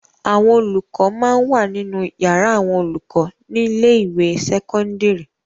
Àwọn olùkọ máa ń wà nínú yàrá àwọn olùkọ ní ilé-ìwé sẹ́kọ́ńdírì.